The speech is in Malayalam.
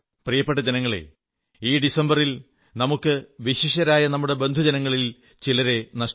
പ്രിയപ്പെട്ട ജനങ്ങളേ ഈ ഡിസംബറിൽ വിശിഷ്യരായ നമ്മുടെ ബന്ധുജനങ്ങളിൽ ചിലരെ നമുക്ക് നഷ്ടമായി